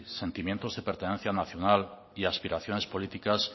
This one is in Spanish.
sentimientos de pertenencia nacional y aspiraciones políticas